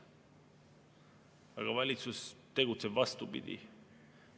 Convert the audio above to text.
Aga valitsus tegutseb vastupidi.